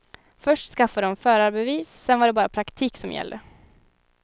Först skaffade hon förarbevis sen var det bara praktik som gällde.